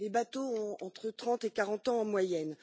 les bateaux ont entre trente et quarante ans en moyenne.